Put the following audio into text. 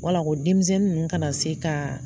Wala ko denmisɛnnin ninnu kana se ka